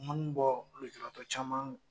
bɔ lujuratɔ caman